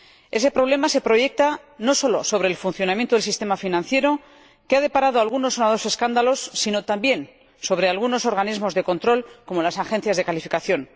Ese problema se proyecta no solo sobre el funcionamiento del sistema financiero, que ha deparado algunos sonados escándalos, sino también sobre algunos organismos de control, como las agencias de calificación.